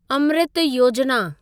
अमृत योजिना